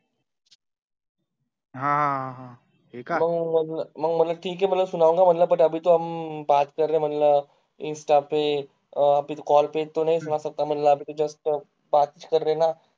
हां हो मंग म्हटलं ठीक है सुनाऊंगा म्हटलं म्हणलं insta पे फिर call म्हणलं